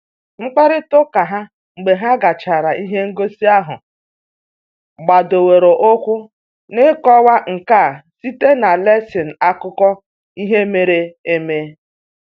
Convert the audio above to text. Mkparịta ụka ha mgbe ha gachara ihe ngosi ahụ gbadoro ụkwụ n'ịkọwa nka site na lensị akụkọ ihe mere eme